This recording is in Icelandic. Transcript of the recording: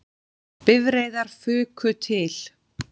Bifreiðar fuku til